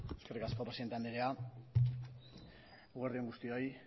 eskerrik asko presidente andrea eguerdi on guztioi